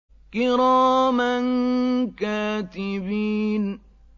كِرَامًا كَاتِبِينَ